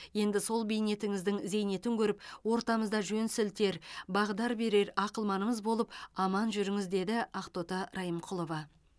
енді сол бейнетіңіздің зейнетін көріп ортамызда жөн сілтер бағдар берер ақылманымыз болып аман жүріңіз деді ақтоты райымқұлова